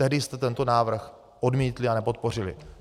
Tehdy jste tento návrh odmítli a nepodpořili.